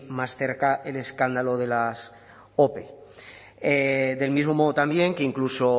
más cerca el escándalo de las ope del mismo modo también que incluso